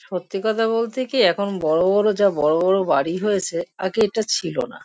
সত্যি কথা বলতে কি এখন বড়ো বড়ো যা বড়ো বড়ো বাড়ি হয়েছে আগে এটা ছিল না ।